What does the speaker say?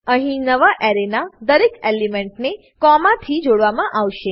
અહી નવા એરેના દરેક એલિમેન્ટને કોમાથી જોડવામા આવશે